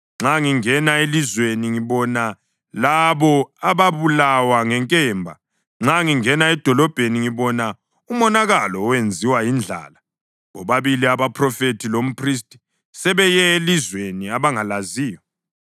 Nxa ngingena elizweni, ngibona labo ababulawa ngenkemba; nxa ngingena edolobheni ngibona umonakalo owenziwa yindlala. Bobabili umphrofethi lomphristi sebeye elizweni abangalaziyo.’ ”